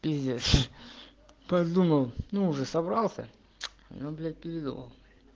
пиздец подумал но уже собрался но блять передумал